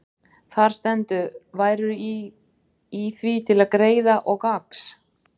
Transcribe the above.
Þar stendur: Værirðu í því til greiða og gagns,